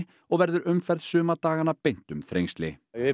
og verður umferð suma dagana beint um Þrengsli við